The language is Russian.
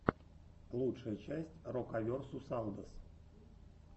лучшая часть рокаверсусалдос